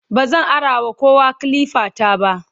bazan arawa kowa kilifa ta ba